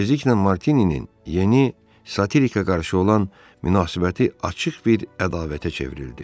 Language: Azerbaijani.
Tezliklə Martininin yeni satirikə qarşı olan münasibəti açıq bir ədavətə çevrildi.